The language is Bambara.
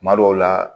Kuma dɔw la